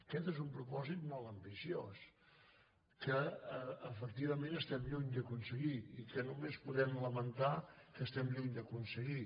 aquest és un propòsit molt ambiciós que efectivament estem lluny d’aconseguir i que només podem lamentar que estiguem lluny d’aconseguir